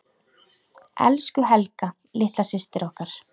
Elsku Helga litla systir okkar.